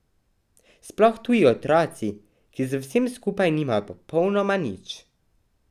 Sploh tuji otroci, ki z vsem skupaj nimajo popolnoma nič.